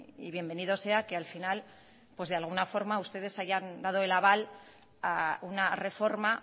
y bienvenido sea que al final de alguna forma ustedes hayan dado el aval a una reforma